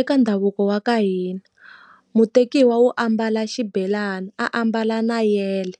Eka ndhavuko wa ka hina, mutekiwa wu ambala xibelani, ambala na yele,